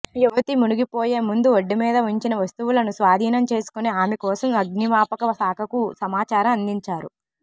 యువతి మునిగిపోయే ముందు ఒడ్డుమీద ఉంచిన వస్తువులను స్వాధీనం చేసుకొని ఆమె కోసం అగ్నిమాపక శాఖకు సమాచారం అందించారు